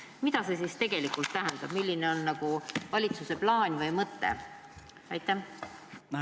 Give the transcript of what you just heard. Mida see tegelikult tähendab, milline on valitsuse plaan või mõte?